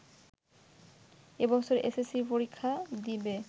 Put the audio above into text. এবছর এসএসসি পরীক্ষা দেবে